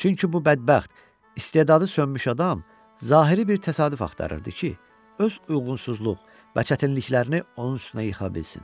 Çünki bu bədbəxt istedadı sönmüş adam zahiri bir təsadüf axtarırdı ki, öz uyğunsuzluq və çətinliklərini onun üstünə yıxa bilsin.